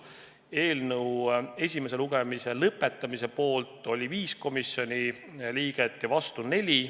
Eelnõu esimese lugemise lõpetamise poolt oli 5 komisjoni liiget ja vastu 4.